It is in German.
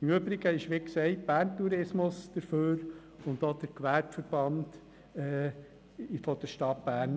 Im Übrigen ist, wie gesagt, Bern Tourismus dafür sowie der Gewerbeverband der Stadt Bern.